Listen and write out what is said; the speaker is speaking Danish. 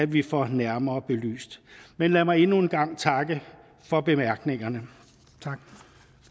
vi får nærmere belyst men lad mig endnu en gang takke for bemærkningerne